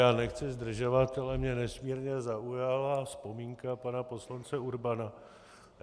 Já nechci zdržovat, ale mě nesmírně zaujala vzpomínka pana poslance Urbana.